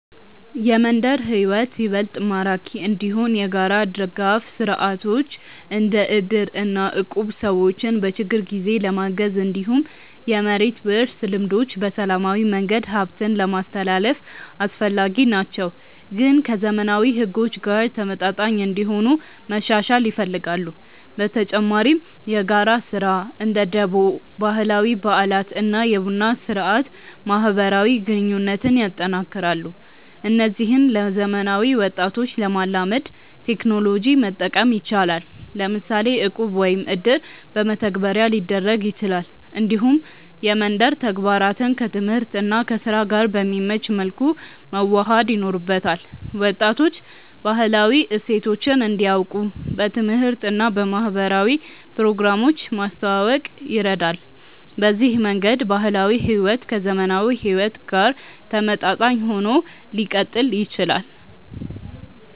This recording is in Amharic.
የመንደር ሕይወት ይበልጥ ማራኪ እንዲሆን የጋራ ድጋፍ ስርዓቶች እንደ እድር እና እቁብ ሰዎችን በችግር ጊዜ ለማገዝ፣ እንዲሁም የመሬት ውርስ ልምዶች በሰላማዊ መንገድ ሀብትን ለማስትላልፍ አስፈላጊ ናቸው፣ ግን ከዘመናዊ ሕጎች ጋር ተመጣጣኝ እንዲሆኑ መሻሻል ይፈልጋሉ። በተጨማሪ የጋራ ስራ (እንደ ደቦ)፣ ባህላዊ በዓላት እና የቡና ስርአት ማህበራዊ ግንኙነትን ያጠናክራሉ። እነዚህን ለዘመናዊ ወጣቶች ለማላመድ ቴክኖሎጂ መጠቀም ይቻላል፤ ለምሳሌ እቁብ ወይም እድር በመተግበሪያ ሊደረግ ይችላል። እንዲሁም የመንደር ተግባራትን ከትምህርት እና ከስራ ጋር በሚመች መልኩ መዋሃድ ይኖርበታል። ወጣቶች ባህላዊ እሴቶችን እንዲያውቁ በትምህርት እና በማህበራዊ ፕሮግራሞች ማስተዋወቅ ይረዳል። በዚህ መንገድ ባህላዊ ሕይወት ከዘመናዊ ሁኔታ ጋር ተመጣጣኝ ሆኖ ሊቀጥል ይችላል።